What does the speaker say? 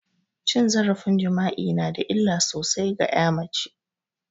Cin zarafin jima'i nada illa sosai ga ƴa mace